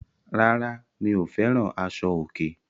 Rárá, mi ò fẹ́ràn àṣọ̀- òkè.